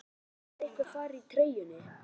Hverju breytir það þó einhver fari úr treyjunni?